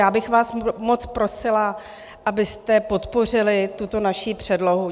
Já bych vás moc prosila, abyste podpořili tuto naši předlohu.